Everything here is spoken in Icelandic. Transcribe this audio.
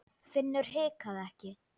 Finnur hikaði ekki.